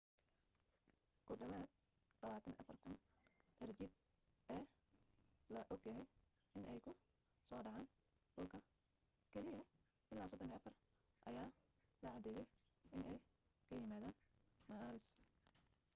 ku dhawaad 24,000 cirjiidheed ee la og yahay inay ku soo dhaceen dhulka keliya ilaa 34 ayaa la caddeeyay inay ka yimaadeen maaris